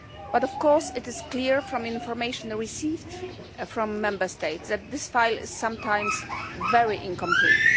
But of course it is clear from information that we received from Member States that this file is sometimes very incomplete.